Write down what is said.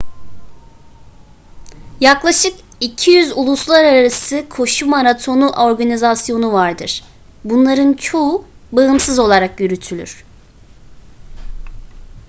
yaklaşık 200 uluslararası koşu maratonu organizasyonu vardır bunların çoğu bağımsız olarak yürütülür